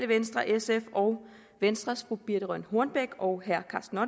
venstre sf og venstres fru birthe rønn hornbech og herre karsten